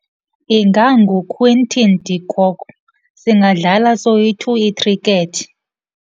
InganguQuinton de Kock. Singadlala soyi-two ikhrikethi.